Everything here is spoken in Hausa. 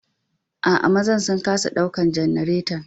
Aa, mazan sun kasa ɗaukan janaretan.